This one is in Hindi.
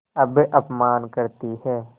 अब अपमान करतीं हैं